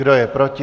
Kdo je proti?